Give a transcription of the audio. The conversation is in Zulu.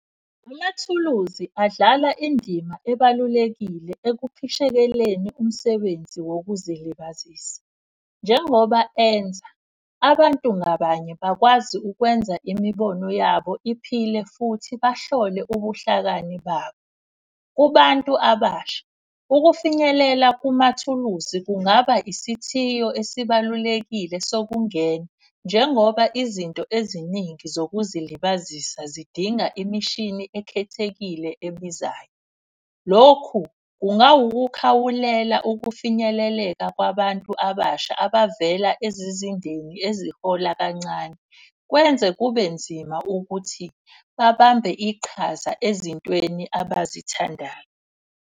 Amathuluzi adlala indima ebalulekile ekukhishekelweni umsebenzi wokuzilibazisa. Njengoba enza abantu ngabanye bakwazi ukwenza imibono yabo iphile futhi bahlole ubuhlakani babo. Kubantu abasha, ukufinyelela kumathuluzi kungaba isithiyo esibalulekile sokungena. Njengoba izinto eziningi zokuzilibazisa zidinga imishini ekhethekile ebizayo. Lokhu kungawukukhawulela ukufinyeleleka kwabantu abasha abavela ezizindeni ezihola kancane. Kwenze kube nzima ukuthi babambe iqhaza ezintweni abazithandayo.